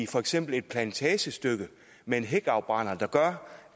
for eksempel et plantagestykke med en hækafbrænder der gør